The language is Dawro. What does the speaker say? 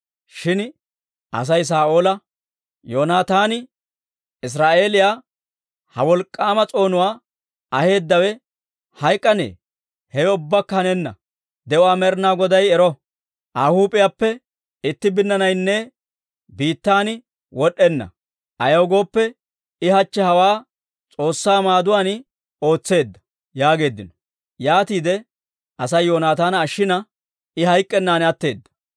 Shin Asay Saa'oola, «Yoonaataani, Israa'eeliyaw ha wolk'k'aama s'oonuwaa aheedawe hayk'k'anee? Hewe ubbakka hanenna! De'uwaa Med'inaa Goday ero! Aa huup'iyaappe itti binnaanaynne biittan wod'd'enna; ayaw gooppe, I hachche hawaa S'oossaa maaduwaan ootseedda» yaageeddino. Yaatiide Asay Yoonaataana ashshina, I hayk'k'ennan atteedda.